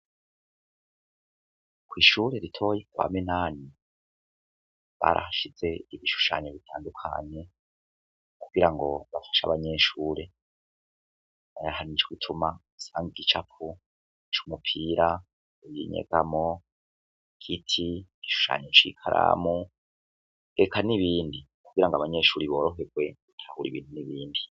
Kwishure ritoya kwa minani barahashize ibishushanyo bitandukanye kugirango bafashe abanyeshure nyahandi nico gituma uhasanga igicapo cumupira, inyegamo, igiti, igishushanyo cikaramu eka nibindi kugirango abanyeshure baroherwe kubona ibintu nibindi.